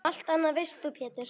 Allt annað veist þú Pétur.